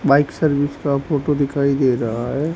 Bike service का photo दिखाई दे रहा है।